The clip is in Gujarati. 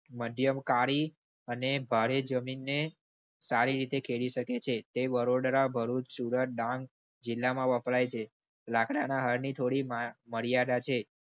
મધ્યમ, કાળી અને ભારે જમીને સારી રીતે ખેડી કરી શકે છે. તે વડોદરા, ભરૂચ, સુરત, ડાંગ જિલ્લામાં વપરાય છે. લાકડા ના હળની થોડી મર્યાદા છે.